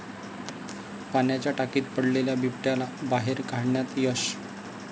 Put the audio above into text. पाण्याच्या टाकीत पडलेल्या बिबट्याला बाहेर काढण्यात यश